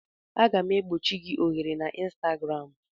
Aga m egbochi gị ohere na Ịnstagram